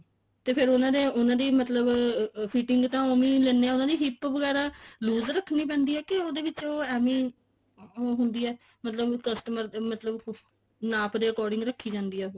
ਤੇ ਫਿਰ ਉਹਨਾ ਦੀ ਉਹਨਾ ਦੇ ਮਤਲਬ fitting ਤਾਂ ਊਵੇਂ ਹੀ ਲੇਂਦੇ ਹਾਂ ਉਹਨਾ ਦੀ hip ਵਗੈਰਾ loose ਰੱਖਣੀ ਪੈਂਦੀ ਹੈ ਕੇ ਉਹਦੇ ਵਿੱਚ ਐਵੇਂ ਹੁੰਦੀ ਹੈ ਮਤਲਬ customer ਦੇ ਮਤਲਬ ਨਾਪ ਦੇ according ਰੱਖੀ ਜਾਂਦੀ ਐ ਉਹ